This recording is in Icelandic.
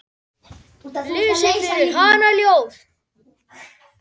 Lesi fyrir hana ljóð.